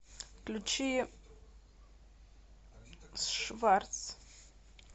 включи шварц